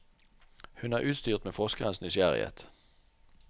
Hun er utstyrt med forskerens nysgjerrighet.